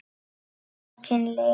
Bókin lifir!